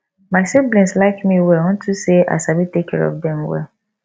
my siblings like me well unto say i sabi take care of dem well